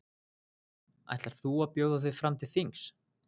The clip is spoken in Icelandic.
Ætlar þú að bjóða þig fram til þings?